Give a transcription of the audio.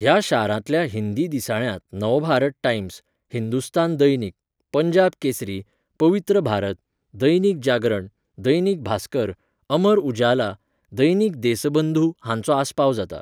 ह्या शारांतल्या हिंदी दिसाळ्यांत नवभारत टाइम्स, हिंदुस्तान दैनिक, पंजाब केसरी, पवित्र भारत, दैनिक जागरण, दैनिक भास्कर, अमर उजाला, दैनिक देसबंधू हांचो आस्पाव जाता.